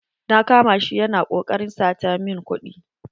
Na kama shi ya na koƙarin sata min kuɗi.